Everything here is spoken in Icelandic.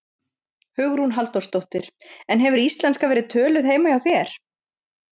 Hugrún Halldórsdóttir: En hefur íslenska verið töluð heima hjá þér?